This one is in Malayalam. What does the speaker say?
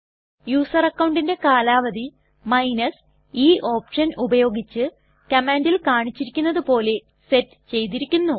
യുസർ അക്കൌണ്ടിന്റെ കാലാവധി e ഓപ്ഷൻ ഉപയോഗിച്ച് കമാൻണ്ടിൽ കാണിച്ചിരിക്കുന്നത് പോലെ സെറ്റ് ചെയ്തിരിക്കുന്നു